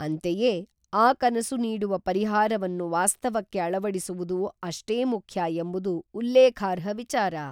ಅಂತೆಯೇ ಆ ಕನಸು ನೀಡುವ ಪರಿಹಾರವನ್ನು ವಾಸ್ತವಕ್ಕೆ ಅಳವಡಿಸುವುದು ಅಷ್ಟೇ ಮುಖ್ಯ ಎಂಬುದು ಉಲ್ಲೇಖಾರ್ಹ ವಿಚಾರ.